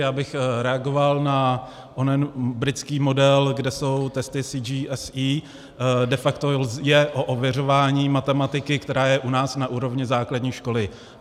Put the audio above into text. Já bych reagoval na onen britský model, kde jsou testy CGSE, de facto je o ověřování matematiky, která je u nás na úrovni základní školy.